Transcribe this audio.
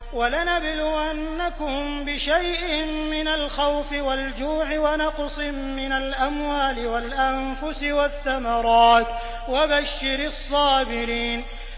وَلَنَبْلُوَنَّكُم بِشَيْءٍ مِّنَ الْخَوْفِ وَالْجُوعِ وَنَقْصٍ مِّنَ الْأَمْوَالِ وَالْأَنفُسِ وَالثَّمَرَاتِ ۗ وَبَشِّرِ الصَّابِرِينَ